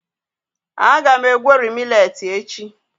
a ga m egweri millet echi.